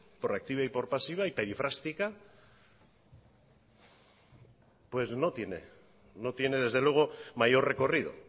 por activa y por pasiva y perifrástica pues no tiene desde luego mayor recorrido